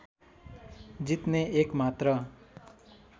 जित्ने एकमात्र